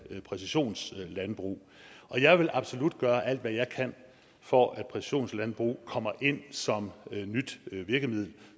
præcisionslandbrug og jeg vil absolut gøre alt hvad jeg kan for at præcisionslandbrug kommer ind som nyt virkemiddel